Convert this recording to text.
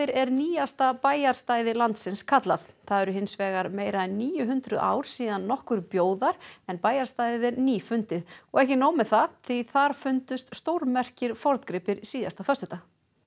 er nýjasta bæjarstæði landsins kallað það eru hins vegar meira en níu hundruð ár síðan nokkur bjó þar en bæjarstæðið er nýfundið og ekki nóg með það því þar fundust stórmerkir forngripir síðasta föstudag